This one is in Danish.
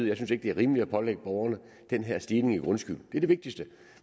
jeg synes ikke det er rimeligt at pålægge borgerne den her stigning i grundskyld det er det vigtigste